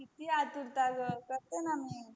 किती आतुरता ग करते मी